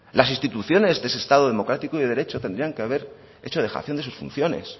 las instituciones de ese estado democrático y de derecho tendrían que haber hecho dejación de sus funciones